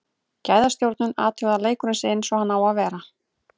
Gæðastjórnun, athugað að leikurinn sé eins og hann á að vera.